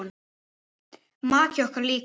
Maki okkar líka.